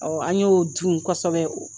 Ɔ an y'o dun kosɛbɛ o